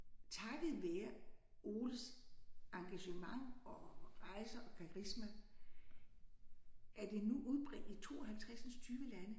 Takket være Oles engagement og rejser og karisma er det nu udbredt i 52 lande